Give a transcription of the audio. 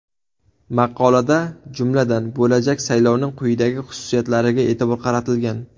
Maqolada, jumladan, bo‘lajak saylovning quyidagi xususiyatlariga e’tibor qaratilgan.